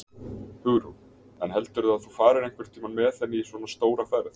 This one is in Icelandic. Hugrún: En heldurðu að þú farir einhvern tímann með henni í svona stóra ferð?